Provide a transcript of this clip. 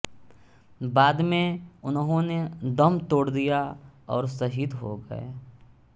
बाद में उन्होंने दम तोड़ दिया और शहीद हो गए